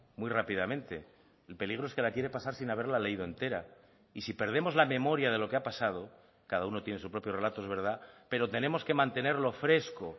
muy rápidamente el peligro es que la quiere pasar sin haberla leído entera y si perdemos la memoria de lo que ha pasado cada uno tiene su propio relato es verdad pero tenemos que mantenerlo fresco